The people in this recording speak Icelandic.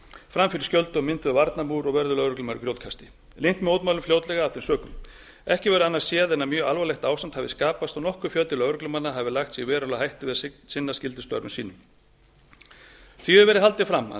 fram fyrir skjöldu mynduðu varnarmúr og vörðu lögreglumenn grjótkasti linnti mótmælunum fljótlega af þeim sökum ekki verður annað séð en að mjög alvarlegt ástand hafi skapast og nokkur fjöldi lögreglumanna hafi lagt sig í verulega hættu við að sinna skyldustörfum sínum því hefur verið haldið fram að